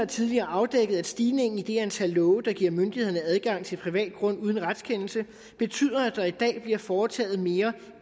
tidligere afdækket at stigningen i det antal love der giver myndighederne adgang til privat grund uden retskendelse betyder at der i dag bliver foretaget mere